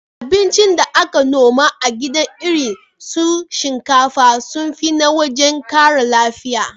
Abincin da aka noma a gida irin su shinkafa sun fi na waje ƙara lafiya.